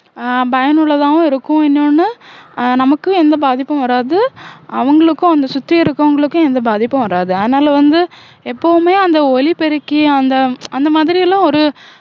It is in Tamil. அஹ் பயனுள்ளதாவும் இருக்கும் இன்னொன்னு அஹ் நமக்கும் எந்த பாதிப்பும் வராது அவங்களுக்கும் அங்க சுத்தி இருக்கறவங்களுக்கும் எந்த பாதிப்பும் வராது அதனால வந்து எப்பவுமே அந்த ஒலிபெருக்கி அந்த அந்த மாதிரி எல்லாம் ஒரு